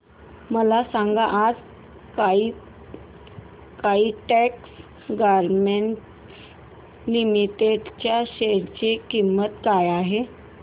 मला सांगा आज काइटेक्स गारमेंट्स लिमिटेड च्या शेअर ची किंमत काय आहे